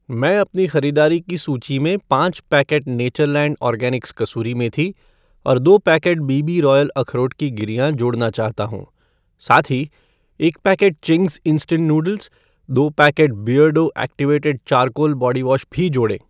मैं अपनी ख़रीदारी की सूची में पाँच पैकेट नेचरलैंड ऑर्गॅनिक्स कसूरी मेथी और दो पैकेट बी बी रॉयल अखरोट की गिरियाँ जोड़ना चाहता हूँ। साथ ही, एक पैकेट चिंग्स इंस्टेंट नूडल्स , दो packet Beardo activated charcoal body wash भी जोड़ें।